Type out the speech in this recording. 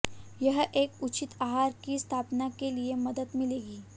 यह एक उचित आहार की स्थापना के लिए मदद मिलेगी